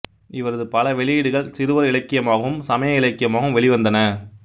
இவரது பல வெளியீடுகள் சிறுவர் இலக்கியமாகவும் சமய இலக்கியமாகவும் வெளிவந்தன